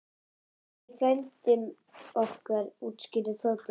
Þetta er frændi okkar útskýrði Tóti.